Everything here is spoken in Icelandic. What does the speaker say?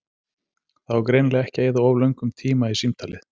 Það á greinilega ekki að eyða of löngum tíma í símtalið.